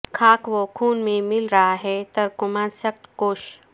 خاک و خون میں مل رہا ہے ترکمان سخت کوش